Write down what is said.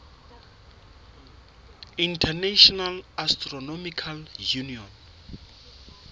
international astronomical union